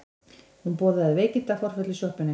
Hún boðaði veikindaforföll í sjoppunni.